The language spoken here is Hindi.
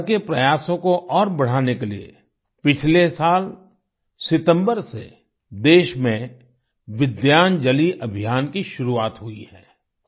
इस तरह के प्रयासों को और बढ़ाने के लिए पिछले साल सितम्बर से देश में विद्यांजलि अभियान की भी शुरुआत हुई है